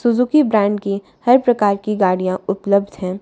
Suzuki brand की हर प्रकार की गाड़ियां उपलब्ध है।